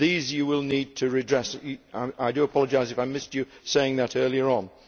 These you will need to redress, I do apologise if I missed you saying that earlier on.